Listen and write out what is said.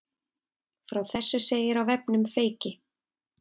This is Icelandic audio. Frá þessu segir á vefnum Feyki